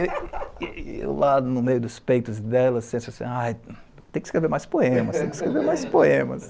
E eu, lá no meio dos peitos dela, senti assim, tem que escrever mais poemas, tem que escrever mais poemas.